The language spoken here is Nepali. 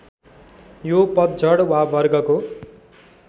यो पतझड वा वर्गको